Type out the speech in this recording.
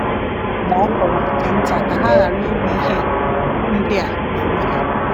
Ma Ọ fọrọ nke nta ka ha ghara iru ihe ndị a n’onwe ha.